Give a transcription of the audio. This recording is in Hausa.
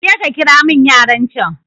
kaje kakiramin yaran can